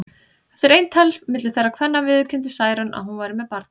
Eftir eintal milli þeirra kvenna viðurkenndi Særún að hún væri með barni.